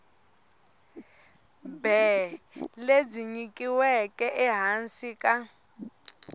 bee lebyi nyikiweke ehansi ka